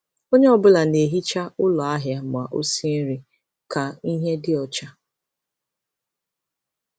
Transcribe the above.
Onye ọ bụla na-ehicha ụlọ ahịa ma ọ sie nri ka ihe dị ọcha.